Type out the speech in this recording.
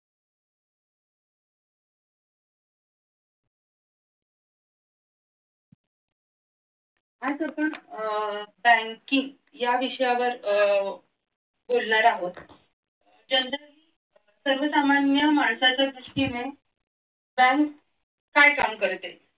आज आपण अह fancy या विषयावर अह बोलणार आहोत जनतेत सर्वसामान्य माणसाच्या दृष्टीने बँक काय काम करते